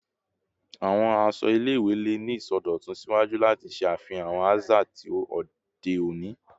Awọn aṣọ ile-iwe le ni isọdọtun siwaju lati ṣe afihan awọn aza ti ode oni